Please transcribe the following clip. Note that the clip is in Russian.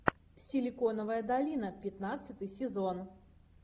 силиконовая долина пятнадцатый сезон